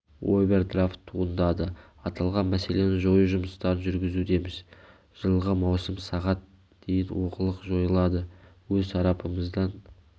овердрафт туындады аталған мәселені жою жұмыстарын жүргізудеміз жылғы маусым сағат дейін олқылық жойылады өз тарапымыздан